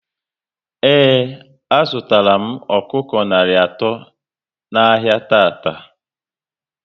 Ee, a zụtara m ọkụkọ narị atọ n'ahia tata